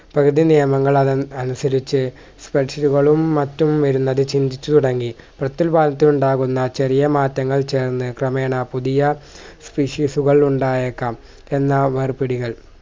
പ്രകൃതി നിയമങ്ങൾ അത് അനുസരിച്ച് പ്രക്ഷികളും മറ്റും വരുന്നത് ചിന്തിച്ചുതുടങ്ങി പ്രത്യുൽപാദനത്തിനുണ്ടാകുന്ന ചെറിയ മാറ്റങ്ങൾ ചേർന്ന് ക്രമേണ പുതിയ issues കൾ ഉണ്ടായേക്കാം എന്നാ വർ പിടികൾ